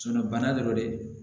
bana do de